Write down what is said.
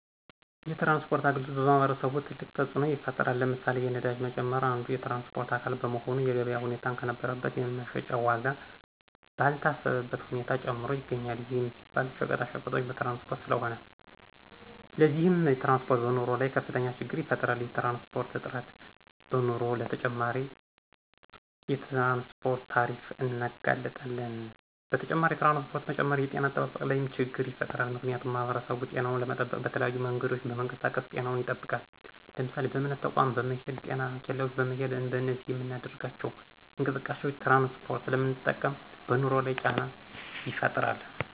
የትራንስፖርት አገልግሎት በማህበረሰቡ ትልቅ ተፅኖ ይፍጥራል። ለምሳሌ፦ የነዳጅ መጨመር አንዱ የትራንስፖርት አካል በመሆኑ የገበያ ሁኔታን ከነበረበት የመሸጫ ዎጋ ባልታሰበበት ሁኔታ ጨምሮ ይገኞል ይህም ሲባል ሸቀጣቀጦች በትራንስፖርት ስለሆነ። ለዚህም ትራንስፖርት በኑሮ ላይ ከፍተኞ ችግር ይፈጥራል። የትራንስፖርት እጥረት በመኖሮ ለተጨማሪ የትራንስፖርት ታሪፍ እንጋለጣለን። በተጨማሪ የትራንስፖርት መጨመር የጤነ አጠባበቅ ላይም ችገር ይፈጥራል ምክንያቱሙ ማህበረሰቡ ጤናውን ለመጠበቅ በተለያዩ መንገዶች በመንቀሳቀስ ጤናውን ይጠብቃል ለምሳሌ:- በእምነት ተቆም በመሄድ: ጤና ኬላዎች በመሄድ በእነዚህ በምናደርጋቸው እንቅስቃሴዎች ትራንስፖርት ስለምንጠቀም በኑሮ ላይ ጫና ይፈጥራል